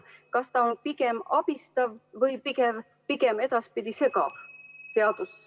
Kas ta on edaspidi pigem abistav või segav?